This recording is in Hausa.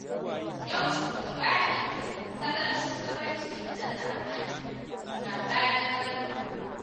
Yau shugaba ne mai salon shugabanci na zamani, sabanin Garba.